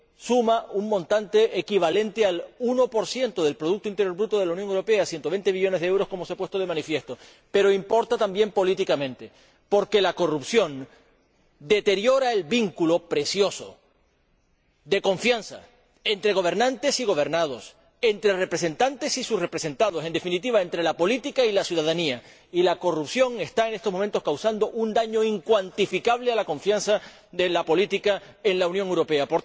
suma un montante equivalente al 1 del Producto Interior Bruto de la Unión Europea 120 millones de euros como se ha puesto de manifiesto pero importa también políticamente, porque la corrupción deteriora el vínculo precioso de confianza entre gobernantes y gobernados, entre representantes y sus representados en definitiva, entre la política y la ciudadanía y la corrupción está en estos momentos causando un daño incuantificable a la confianza de la política en la Unión Europea.